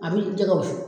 A bi jɛgɛ wusu